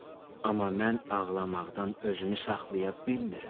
Amma mən ağlamaqdan özümü saxlaya bilmirəm.